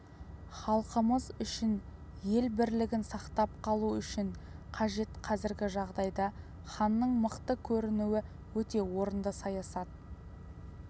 халқымыз үшін ел бірлігін сақтап қалу үшін қажет қазіргі жағдайда ханның мықты көрінуі өте орынды саясат